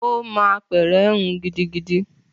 Ó mọ apẹ̀rẹ̀ hun gidigidi